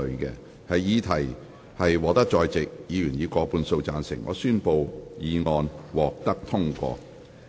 由於議題獲得在席議員以過半數贊成，他於是宣布議案獲得通過。